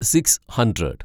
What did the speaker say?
six hundred